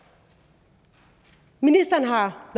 ministeren har